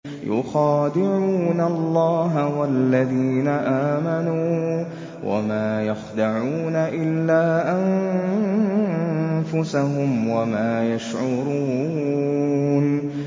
يُخَادِعُونَ اللَّهَ وَالَّذِينَ آمَنُوا وَمَا يَخْدَعُونَ إِلَّا أَنفُسَهُمْ وَمَا يَشْعُرُونَ